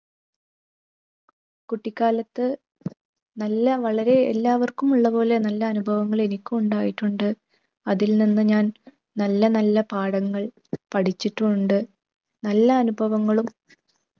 കുട്ടിക്കാലത്തു നല്ല വളരെ എല്ലാവർക്കും ഉള്ളപോലെ നല്ല അനുഭവങ്ങൾ എനിക്കും ഉണ്ടായിട്ടുണ്ട്. അതിൽ നിന്ന് ഞാൻ നല്ല നല്ല പാഠങ്ങൾ പഠിച്ചിട്ടുമുണ്ട്. നല്ല അനുഭവങ്ങളും